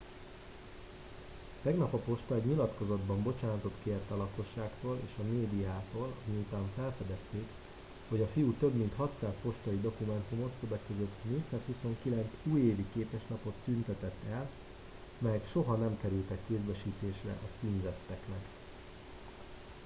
tegnap a posta egy nyilatkozatban bocsánatot kért a lakosságtól és a médiától miután felfedezték hogy a fiú több mint 600 postai dokumentumot többek közt 429 újévi képeslapot tüntetett el melyek soha nem kerültek kézbesítésre a címzetteknek